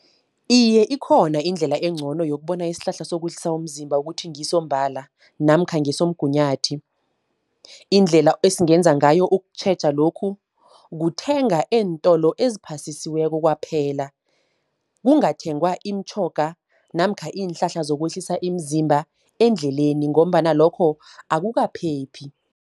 Iye ikhona indlela engcono yokubona isihlahla sokwehlisa umzimba ukuthi ngisombala namkha ngesomgunyathi. Indlela esingenza ngayo ukutjheja lokhu, kuthenga eentolo eziphasisiweko kwaphela. Kungathengwa imitjhoga, namkha iinhlahla zokwehlisa iimzimba endleleni, ngombana lokho akukaphephi.